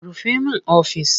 Rufe min ofis!